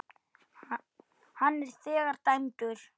Hann er þegar dæmdur.